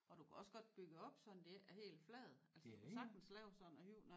Og du kan også godt bygge det op sådan det ikke er helt flad altså du kan sagtens lave sådan noget højt noget